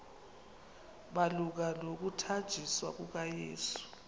malunga nokuthanjiswa kukayesu